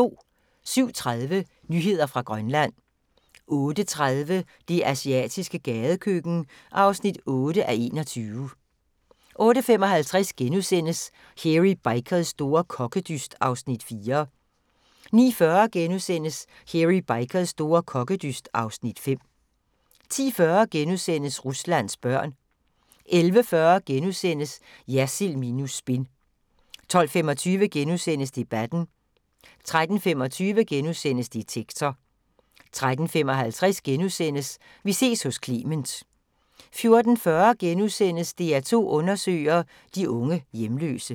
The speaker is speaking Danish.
07:30: Nyheder fra Grønland 08:30: Det asiatiske gadekøkken (8:21) 08:55: Hairy Bikers store kokkedyst (Afs. 4)* 09:40: Hairy Bikers store kokkedyst (Afs. 5)* 10:40: Ruslands børn * 11:40: Jersild minus spin * 12:25: Debatten * 13:25: Detektor * 13:55: Vi ses hos Clement * 14:40: DR2 Undersøger: De unge hjemløse *